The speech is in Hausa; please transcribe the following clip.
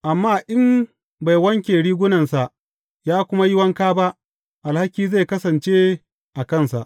Amma in bai wanke rigunansa ya kuma yi wanka ba, alhaki zai kasance a kansa.